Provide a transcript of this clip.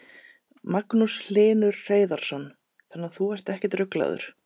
Magnús Hlynur Hreiðarsson: Þannig að þú ert ekkert ruglaður?